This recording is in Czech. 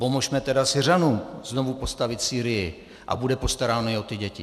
Pomozme tedy Syřanům znovu postavit Sýrii a bude postaráno i o ty děti.